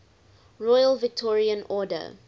royal victorian order